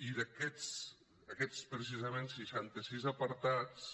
i aquests precisament seixanta sis apartats